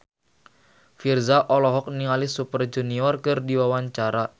Virzha olohok ningali Super Junior keur diwawancara